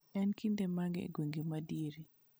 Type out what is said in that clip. En kinde mage e gwenge madiere